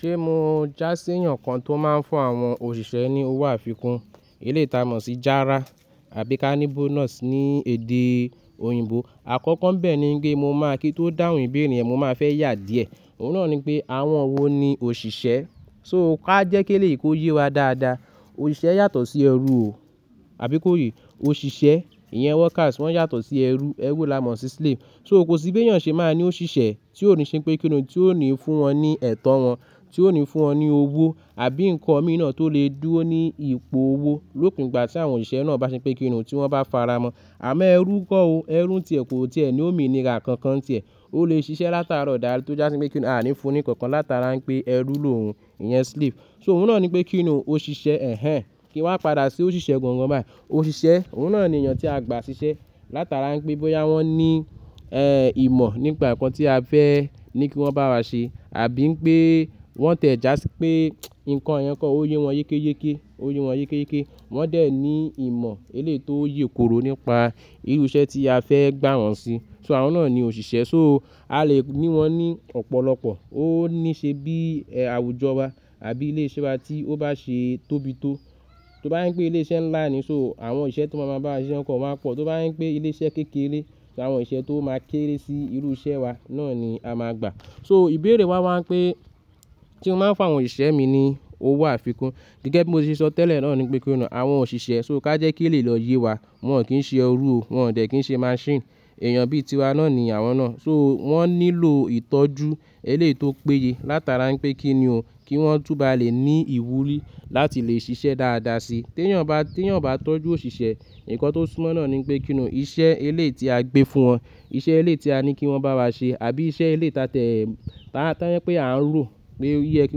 Ṣé mo jásí èèyàn kan tó máa ń fún àwọn òṣìṣẹ́ ní owó àfikún? Eléyìí táa mọ̀ sí járá àbí ká ní bonus ní èdè òyìnbó. Àkọ́kọ́ ńbè ni pé mo máa kí n tó dáhùn ìbéèrè mo máa fẹ́ yà díẹ̀. Òun náà ni pé àwọn wo ni òṣìṣẹ́? So ká jẹ́ kí elèyí kó yé wa dáadáa. Òṣìṣẹ́ yàtọ̀ sí ẹrú o, àbí kó yé. Òṣìṣẹ́, ìyẹn workers wọ́n yàtọ̀ sí ẹrú. Ẹrú la mọ̀ sí slave. So kò sí bí èèyàn ṣe máa ní òṣìṣẹ́ tí ó ní ṣe pé kíni o, tí ó ní fún wọn ní ẹ̀tọ́ wọn, tí ó ní fún wọn ní owó àbí nǹkan mìírán tó lè dúró ní ipò owó lópin ìgbà tí àwọn òṣìṣẹ́ náà bá ṣe pé kíni o, tí wọ́n bá faramo. Àmọ́ ẹrú kọ́ o, ẹrú ní tiè kọ̀ tíẹ ní òmìnira kànkan tiẹ̀. Ó le ṣiṣẹ́ látàárò dalé tó jásí pé kíni a ò ní fun ní kànkan látara wípé ẹrú lòun, ìyẹn slave. So òun náà ni pé kíni o, ó ṣìṣẹ́ èhẹèn. Kí n wa padà sí òṣìṣẹ́ gangan báyí. Òṣìṣẹ́, òun náà ni èèyàn tí a gbà ṣíṣẹ́ látara wípé bóyá wọ́n ní, e, ìmọ̀ nípa nǹkan tí a fẹ́ ní kí wọ́n bá wa ṣe àbí wípé wọ́n tiẹ́ jásí pé nǹkan yẹn kọ́ ó yé wọn yékéyéké, ó yé wọn yékéyéké. Wọ́n dẹ̀ ní ìmọ̀ eléyi tó yè koro nípa irú iṣẹ́ tí a fẹ́ gbá wọn sí. So àwọn náà ni òṣìṣẹ́. So a lè ní won ní ọ̀pọ̀lọpọ̀. Ó ní ṣe bí àwùjọ wa àbí ilé iṣẹ́ wa tí ó bá ṣe tóbi tó. Tó bá wípé ilé iṣẹ́ nlá ni so àwọn òsìṣẹ́ tó máa máa bá wa ṣíṣe papò máa pò. Tó bá jé wípé ilé iṣẹ́ kékeré làwọn òsìṣẹ́ tó máa kéré sí irú iṣẹ́ wa náà ni a máa gbà. So ìbéèrè wa wá wípé se mo máa ń fún àwọn òṣìṣẹ́ mi ní owó àfikún gẹ́gẹ́ bí mo ṣe sọ tẹ́lẹ̀ náà ni wípé kíni o, àwọn òṣìṣẹ́ so ká jẹ́ kí ó lè lọ yé wa. Wọn ò kí ń ṣe ẹrú o. Wọn ò dẹ̀ kí ń ṣe machine. Ẹ̀yàn bíi tiwa náà ni àwọn náà. So wọ́n nílò ìtọ́jú eléyí tó péye látara wípé kíni o, kí wọ́n tún bá lè ní ìwúrí láti lè ṣiṣẹ́ dáadáa síi. Tí èèyàn bá, tí èèyàn ò bá tọ́jú òṣìṣẹ́, nǹkan tó túmọ̀si náà ni pé kíniún iṣẹ́ eléyí tí a gbé fún wọn, iṣẹ́ eléyi tí a ní kí wọ́n bá wa ṣe àbí iṣẹ́ elé ta tiẹ̀ ta-- tó jé wípé pé à ń rò pé ó yẹ kí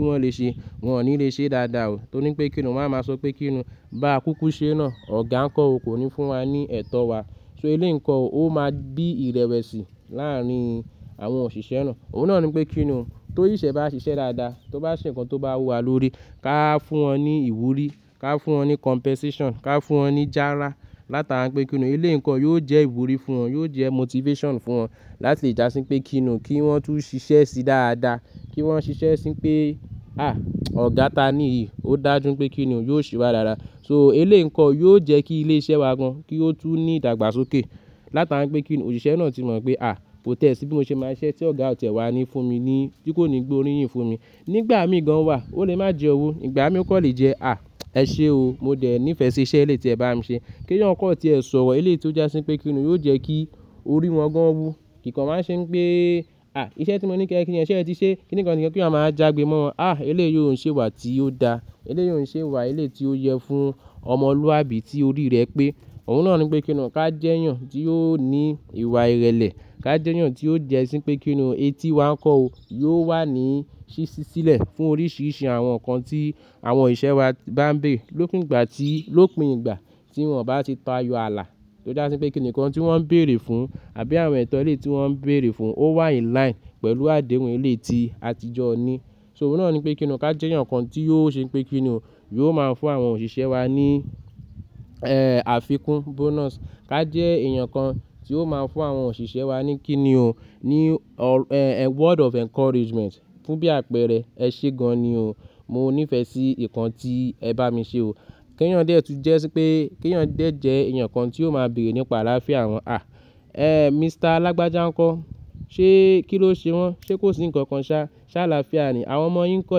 wọ́n lè ṣe, wọ́n ò ní lè ṣe dáadáa o. Torí wípé kíni o, wón a máa sọ pé kíni o, bá kúkú ṣe náà, ọ̀gá nǹkan o kò ní fún wa ní ẹ̀tọ́ wa. So eléyi nǹkan o, ó máa ń bí ìrẹ̀wẹ̀sì láàárín àwọn òṣìṣẹ́ náà. Òun náà ni wípé kíni o, tí òsìṣẹ́ bá ṣiṣẹ́ dáadáa, tó bá ṣe nǹkan tó bá wu wa lórí, ká fún wọn ní ìwúrí, ká fún wọn ní compensation, ká fún wọn ní jáárá látara wípé kíni o, eléyi nǹkan yóò jẹ́ ìwúrí fún wọn, yóò jẹ́ motivation fún wọn láti lè jásí wípé kíni o, kí wọ́n tún ṣiṣẹ́ sí dáadáa. Kí wọ́n ṣiṣẹ́ sí wípé háà ọ̀gá tí a ni yíi, ó dájú wípé kíni o, yóò ṣewà dáadáa. So elé nǹkan yóò jẹ́ kí ilé iṣẹ́ wa gan-an kí ó tún ní ìdàgbàsókè látara wípé kíni o, òṣìṣẹ́ náà ti mọ̀ pé à kọ̀ tiẹ̀ sí bí mo ṣe máa ṣiṣẹ́ tí ọ̀gá ò tiẹ̀ wá ní fún mi ní tí kò ní gbé orí yìn fún mi. Nígbà mí gan-an wà ó lè má jẹ owó, ìgbà mí ó kò lè jẹ, à ẹ ṣe o mọ dẹ̀ nífẹ̀ẹ́ ṣí iṣẹ́ eléyi tí ẹ bá mi ṣe. Kí èèyàn kọ̀ọ̀ tíẹ sọ̀rọ̀ eléyi tí ó jásí wípé kíni o, yóò jẹ́ kí orí wọn gan-an wú. Kìkàn wá ń ṣe wípé à iṣẹ́ tí mo ní ké e se, sé eti sé, kíníkan kìnìkan kí èèyàn máa wá jágbe mọ́ wọn. À eléyi ò ń ṣe ìwà tí ó da. Elé yóò ń ṣe ìwà elé tí ó yẹ fún ọmọlúwàbí tí orí rẹ̀ pé. Òun náà ni pé kíniún ká jẹ́ èèyàn tí yóò ní ìwà ìrẹ̀lẹ̀. Ká jẹ́ èèyàn tí ó jẹ́ sí pé kíni o, etí wa nǹkan o yóò wà ní ṣíṣí sílẹ̀ fún oríṣìíríṣìí àwọn nǹkan tí àwọn òsìṣẹ́ wa bá ń bèrè lópin ìgbà tí, lópin ìgbà tí wọn bá ti tayo ààlà tó jásí pé kíni o, nńkan tí wọ́n ń bèrè fún àbí àwọn ẹ̀tọ́ eléyi tí wọ́n ń bèrè fún ó wà in line pẹ̀lú àdéhùn eléyi ti àtijọ́ ni. So òun náà ni pé kíni o, ká jẹ́ èèyàn kan tí ó ṣe wípé kíni o, yóò máa fún àwọn òṣìṣẹ́ wa ní, e, àfikún bonus. Ká jẹ́ èèyàn kan tí ó máa ń fún àwọn òṣìṣẹ́ wa ní kíni o, ní, e, word of encouragement. Fún bí àpẹẹrẹ ẹ ṣe gan-an ni o. Mo nífẹ̀ẹ́ sí nńkan tí ẹ bá mi ṣe o. Kí èèyàn dẹ̀ tún jẹ́ sí pé kí èèyàn dẹ̀ jẹ́ èèyàn kan tí ó máa béèrè nípa àlàáfíà wọn, à ẹ́ Mister lágbájá nǹkan. Ṣé kí ló ṣe wọ́n? Ṣé kò sí nǹkan kan sa, sé àlàáfíà ni, àwọn ọmọ yín ńkó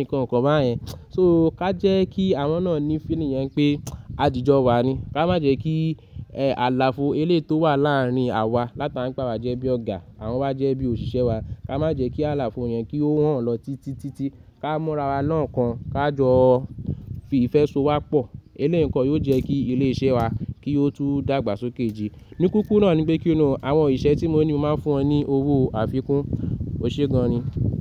nǹkan kan bá yẹn. So ká jẹ́ kí àwọn náà ní feeling yẹn pé àjíjọ wa ni. Ká má jẹ́ kí àlàfo eléyi tó wà láàrin àwa látara wípé àwa jẹ́ bí ọ̀gá, àwon wá jẹ́ bí òṣìṣẹ́ wa. Ká má jẹ́ kí àlàfo yẹn kí ó họ̀n lọ títítí. Ká mú ara wa ní òkan ká jọ fi ìfẹ́ so wa pọ̀. Eléyi gan yóò jẹ́ kí ilé iṣẹ́ wa kí ó tún dàgbàsókè si. Ní kíkúrù náà ni pé kíni o, àwọn òsìṣẹ́ tí mo ní mo máa ń fún wọn ní owó àfikún. Oṣé gan-an ni.